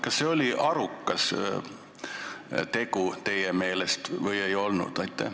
Kas see oli teie meelest arukas tegu või ei olnud?